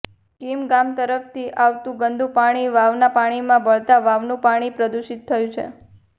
કીમ ગામ તરફથી આવતુ ગંદુ પાણી વાવના પાણીમાં ભળતા વાવનું પાણી પ્રદૂષિત થયું છે